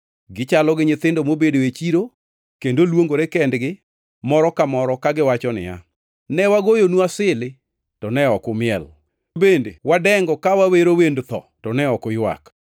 Gichalo nyithindo mobedo e chiro kendo luongore kendgi moro ka moro kagiwacho niya, “ ‘Ne wagoyonu asili, to ne ok umiel; bende ne wadengo ka wawero wend tho, to ne ok uywak.’